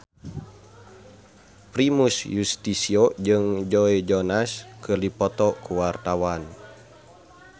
Primus Yustisio jeung Joe Jonas keur dipoto ku wartawan